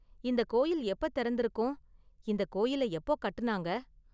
இந்த கோயில் எப்ப திறந்திருக்கும்? இந்த கோயிலை எப்போ கட்டுனாங்க?